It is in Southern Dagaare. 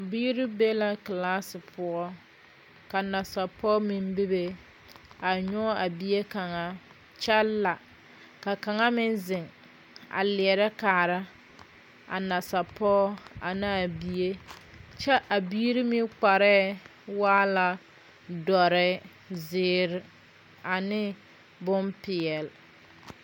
Biire be la klaasi poʊ. Ka nasapɔgɔ meŋ bebe. A yɔg a bie kanga kyɛ la. Ka kanga meŋ zeŋ a lierɛ kaara a nasapɔg ane a bie. Kyɛ a biire meŋ kpareɛ waala duore, ziire, ane bon piɛle